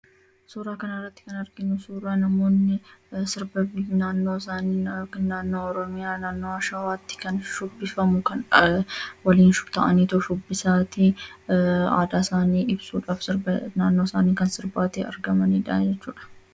Suuraa kanarratti kan arginu suuraa namoonni sirba naannoo isaanii kan naannoo Oromiyaa naannoo Shawaatti shibbifamu waliin ta'anii shubbisaa aadaa isaanii agarsiisudhaaf kan waliin ta'anii sirbaatoo jiranidha jechuudha.